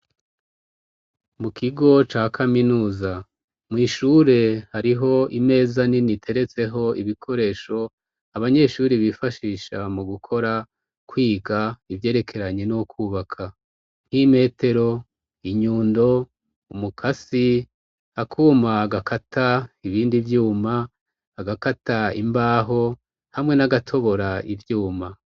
Mu kigo ca kaminuza, mw'ishure hariho imeza nini iteretseho ibikoresho abanyeshuri bifashisha mu gukora, kwiga ivyerekeranye no kwubaka, nk'imetero, inyundo, umukasi, akuma gakata ibindi vyuma, agakata imbaho hamwe n'agatobora ivyuma.